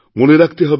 মনে রাখতে হবে